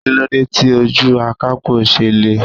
Kí ló dé tí ojú akapo ṣe le?